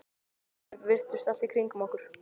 Þær virtust allt í kringum okkur.